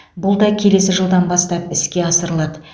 бұл да келесі жылдан бастап іске асырылады